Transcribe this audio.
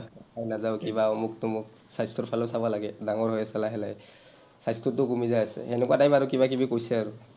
ভাত খাই নাযাওঁ, কিবা অমুক, তমুক, স্বাস্থ্যৰ ফালেও চাবা লাগে, ডাঙৰ হৈ আছা লাহে লাহে, স্বাস্থ্যটোও কমি যাই আছে, হেনেকুৱা type আৰু কিবাকিবি কৈছে আৰু।